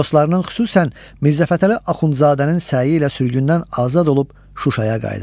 Dostlarının, xüsusən Mirzəfətəli Axundzadənin səyi ilə sürgündən azad olub Şuşaya qayıdır.